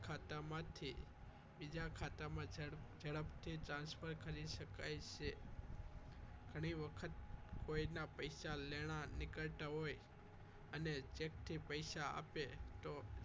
એક ખાતામાંથી બિજા ખાતામાં ઝડપથી transfer કરી શકાય છે ઘણી વખત કોઈના પૈસા લેણા નીકળતા હોય અને cheque થી પૈસા આપે તો ખાતામાંથી